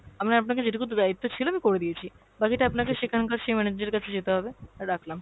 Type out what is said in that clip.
আমার আপনাকে যেটুকু দায়িত্ব ছিল আমি করে দিয়েছি, বাকিটা আপনাকে সেখানকার কাছে যেতে হবে। রাখলাম ।